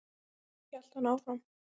hélt hann áfram.